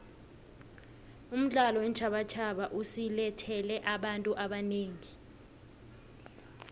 umdlalo weentjhabatjhaba usilethele abantu abanengi